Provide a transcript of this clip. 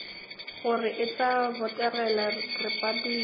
gore e tla botegela repabliki